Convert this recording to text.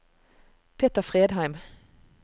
Peter Fredheim